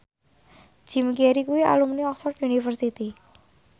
Jim Carey kuwi alumni Oxford university